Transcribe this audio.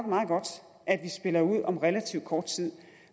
meget godt at vi spiller ud om relativt kort tid